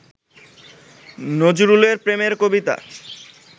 নজরুলের প্রেমের কবিতা